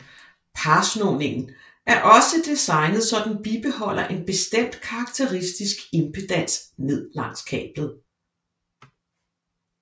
Parsnoningen er også designet så den bibeholder en bestemt karakteristisk impedans ned langs kablet